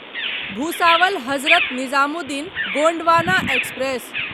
Bhusawal Hazrat Nizamuddin Gondwana express